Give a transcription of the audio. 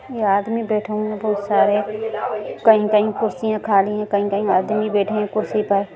यह आदमी बैठे हुए हैं बहुत सारे कहीं-कहीं कुर्सियां खाली है कहीं-कहीं आदमी बैठे हैं कुर्सी पर--